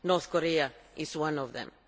North Korea is one of them.